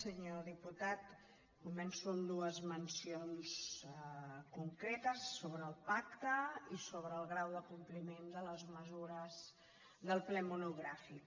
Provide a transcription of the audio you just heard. senyor diputat començo amb dues mencions concretes sobre el pacte i sobre el grau de compliment de les mesures del ple monogràfic